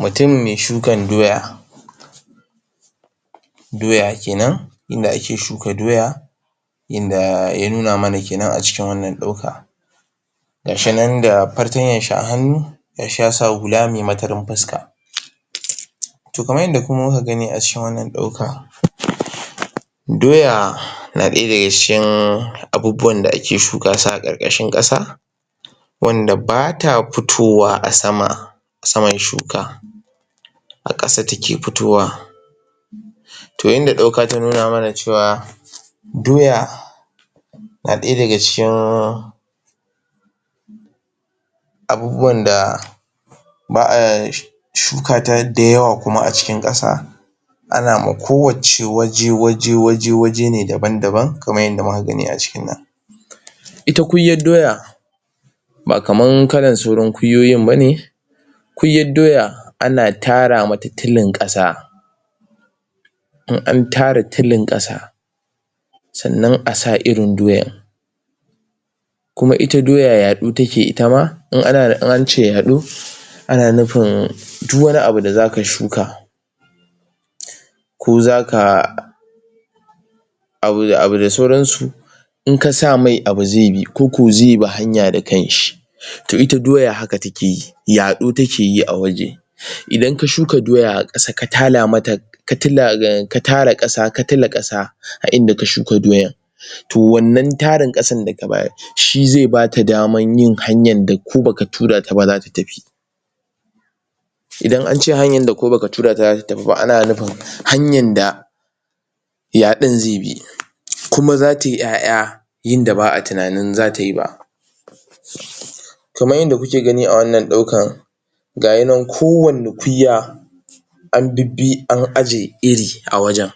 mutum mai shukan doya doya kenan inda ake shuka doya inda ya nuna mana kenan acikin wannan dauka gashi nan da fartanyashi a hannu gashi ya sa hula mai matarin fuska toh kamar yadda muka gani acikin wannan dauka doya na daya daga cikin abubuwan da ake shuka su a ƙarƙashin kasa wanda bata fitowa a sama saman shuka a ƙasa take fitowa to inda dauka ta nuna mana cewa doya na daya daga cikin abubuwan da ba'a sh shukata da yawa kuma acikin kasa ana ma kowacce waje waje waje ne daban daban kamar yadda muka gani acikin nan ita kunyar doya ba kamar saura kunyoyin bane kunyar doya ana tara mata tulin kasa in an tara tulin kasa sannan a sa irin doyar kuma ita doya yado take itama in ance yaɗo ana nufin duk wani abu da zaka shuka ko zaka abu da abu da sauransu in kasa mishi abu zaibi koko zaibi hanya da kanshi to ita doya haka takeyi yado takeyi a waje idan ka shuka doya akasa ka tala mata ka tara ka tula kasa a inda ka shuka doyar to wannan tarin kasar da ka bayar shi zai bata damar yin hanyan da ko baka turata ba zata tafi idan ance hanyan da ko baka tura taba ana nufin hanyanda yadon zaibi kuma zatayi yaya yin da ba'a tunanin zata yi ba kamar yanda kuke gani awannan daukar ga yi nan kowani kunya an bibbi an aije iri a wajen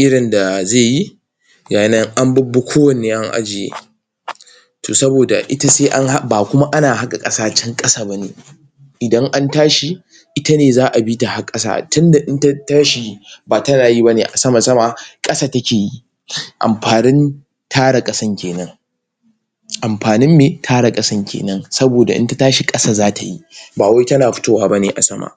irin da zaiyi gayi nan anbi bi kowanne an ajiye to saboda ita sai an hak bakuma ana haqa kasa can kasa bane idan antashi itane za'a bita harqasa tunda in ta tashi yi ba tanayi a sama sama bane kasa takeyi amfanin tara kasan kenan amfanin me tara kasan kenan saboda in tashi kasa zatayi bawai tana fitowa bane a sama